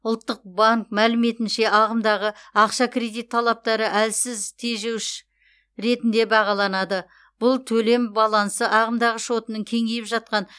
ұлттық банк мәліметінше ағымдағы ақша кредит талаптары әлсіз тежеуш ретінде бағаланады бұл төлем балансы ағымдағы шотының кеңейіп жатқан